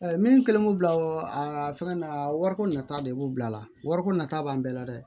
min kɛlen k'o bila o fɛngɛ na wariko nata de b'u bila la wariko nata b'an bɛɛ la dɛ